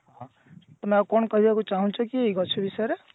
ତମେ ଆଉ କଣ କହିବାକୁ ଚାହୁଁଛ କି ଏଇ ଗଛ ବିଷୟରେ